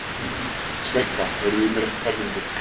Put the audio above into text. Sveinka, heyrðu í mér eftir tvær mínútur.